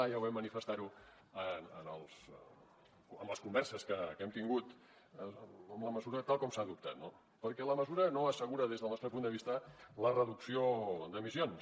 ja ho vam manifestar en les converses que hem tingut en la mesura tal com s’ha adoptat no perquè la mesura no assegura des del nostre punt de vista la reducció d’emissions